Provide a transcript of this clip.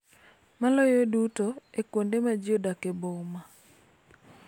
Maloyo duto e kuonde ma ji odak e boma.